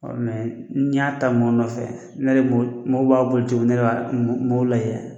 n' y'a ta mɔn nɔfɛ, ne yɛrɛ bolo mɔnw b'a boli cogo min ne yɛrɛ b'a, nb'ɔ lajɛ.